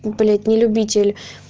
блять не любитель